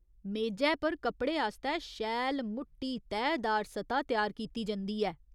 मेजै पर कपड़े आस्तै शैल मुट्टी तैह्दार सतह त्यार कीती जंदी ऐ।